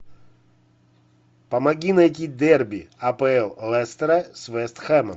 помоги найти дерби апл лестера с вест хэмом